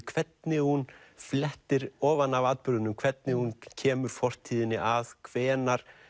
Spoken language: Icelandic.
hvernig hún flettir ofan af atburðunum hvernig hún kemur fortíðinni að hvenær